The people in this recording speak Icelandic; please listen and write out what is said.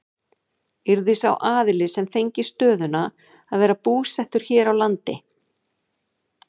Yrði sá aðili sem fengi stöðuna að vera búsettur hér á landi?